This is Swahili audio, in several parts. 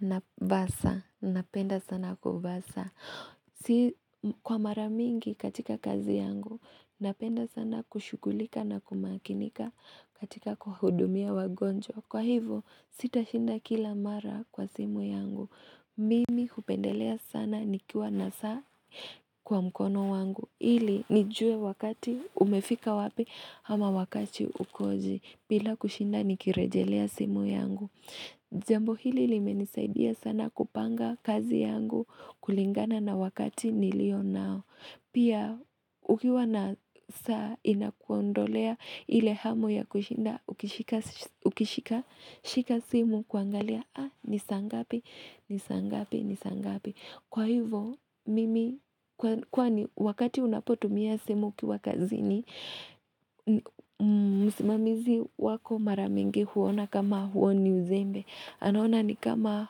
Nabasa, napenda sana kubasa. Si kwa maramingi katika kazi yangu, napenda sana kushughulika na kumakinika katika kuwahudumia wagonjwa. Kwa hivo, sitashinda kila mara kwa simu yangu. Mimi hupendelea sana ni kiwa nasaa kwa mkono wangu. Ili, nijue wakati umefika wapi ama wakati ukoje. Bila kushinda, nikirejelea simu yangu. Jambo hili limenisaidia sana kupanga kazi yangu kulingana na wakati nilio nao Pia ukiwa na saa inakuondolea ile hamu ya kushinda ukishika simu kuangalia ni saa ngapi, ni saangapi, ni saangapi Kwa hivo mimi kwani wakati unapotumia simu ukiwa kazi ni msimamizi wako maramingi huona kama huoni uzembe anaona ni kama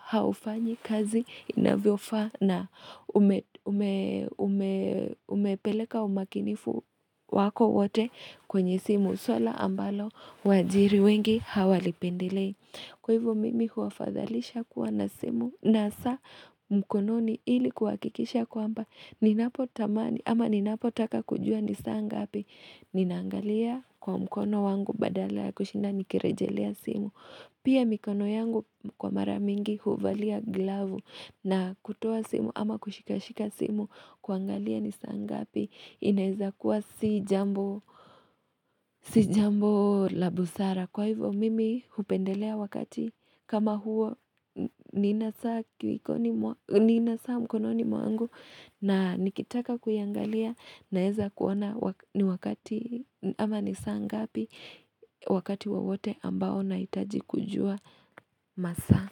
haufanyi kazi inavyofaa na umepeleka umakinifu wako wote kwenye simu swala ambalo waajiri wengi hawalipendilei Kwa hivyo mimi huafadhalisha kuwa na simu na saa mkononi ili kuhakikisha kwamba ama ninapo taka kujua nisaa ngapi ninaangalia kwa mkono wangu badala kushinda nikirejelea simu pia mikono yangu kwa maramingi huvalia glavu na kutuo simu ama kushika shika simu kuangalia nisaa ngapi inaiza kuwa si jambo la busara kwa hivyo mimi hupendelea wakati kama huo nina saa mkononi mwangu na nikitaka kuiangalia naweza kuona wakati wowote ambao nahitaji kujua masa.